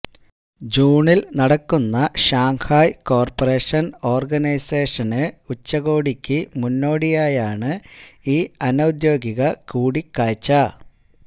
ജൂണില് നടക്കുന്ന Shanghai cooperation organisation ഉച്ചകോടിക്കു മുന്നോടിയായാണ് ഈ അനൌദ്യോഗിക കൂടിക്കാഴ്ച